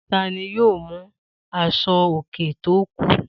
Ta ni yóò mú aṣọòkè tó kù